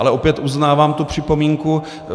Ale opět uznávám tu připomínku.